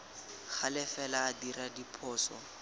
gale fela a dira diphoso